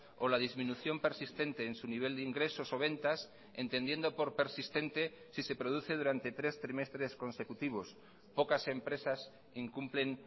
o la disminución persistente en su nivel de ingresos o ventas entendiendo por persistente si se produce durante tres trimestres consecutivos pocas empresas incumplen